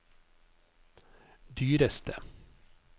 dyreste